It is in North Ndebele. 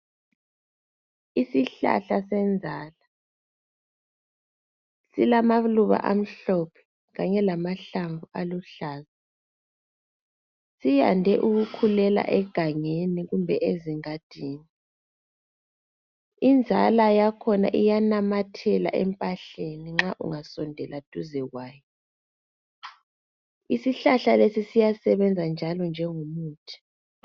Isihlahla senzala silamaluba amhlophe kanye lamahlamvu aluhlaza. Siyande ukukhulela egangeni kumbe ezingadini. Inzala yakhona iyanamathela empahleni ungasondela duze kwaso. Isihlahla lesi siyasebenza njengomuthi.